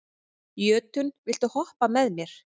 Jötunn, viltu hoppa með mér?